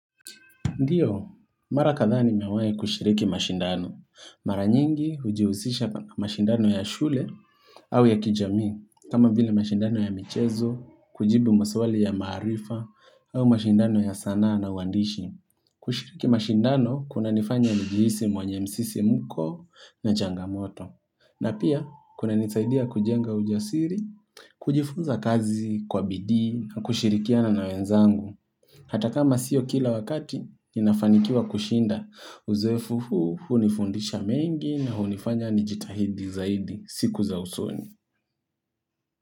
Ndiyo, mara kadhaa nimewai kushiriki mashindano. Mara nyingi hujihusisha mashindano ya shule au ya kijami. Kama vile mashindano ya michezo, kujibu maswali ya maarifa au mashindano ya sanaa na uwandishi. Kushiriki mashindano kuna nifanya njihisi mwenye msisimuko na changamoto. Na pia, kuna nisaidia kujenga ujasiri, kujifunza kazi, kwa bidii, kushirikiana na wenzangu. Hata kama sio kila wakati, ninafanikiwa kushinda. Uzoefu huu, hunifundisha mengi na hunifanya nijitahidi zaidi, siku za usoni.